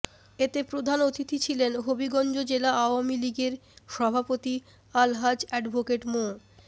এতে প্রধান অতিথি ছিলেন হবিগঞ্জ জেলা আওয়ামী লীগের সভাপতি আলহাজ্ব এ্যাডভোকেট মো